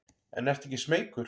En ertu ekki smeykur?